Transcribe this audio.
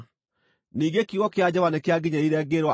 Ningĩ kiugo kĩa Jehova nĩkĩanginyĩrĩire, ngĩĩrwo atĩrĩ: